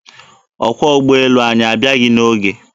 Ọkwọ ụgbọelu anyị abịaghị n'oge.